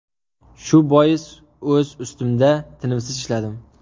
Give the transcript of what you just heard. Shu bois, o‘z ustimda tinimsiz ishladim.